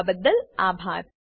જોડાવાબદ્દલ આભાર